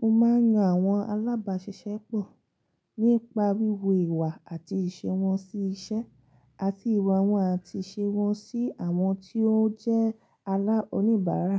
Mo máa ń yan àwọn alábàáṣiṣẹ́ pọ̀ nípa wíwo ìwà àti ìṣe wọn sí iṣẹ́, àti ìwà wọn àti ìṣe wọn sí àwọn tí ó jẹ́ oníbárà.